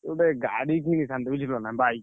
ମୁଁ ଗୋଟେ ଗାଡି କିଣିଥାନ୍ତି ବୁଝିଲନା bike ।